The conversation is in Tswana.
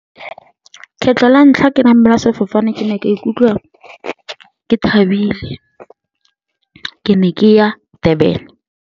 Kgetlho la ntlha ke namela sefofane ke ne ka ikutlwa ke thabile, ke ne ke ya Durban.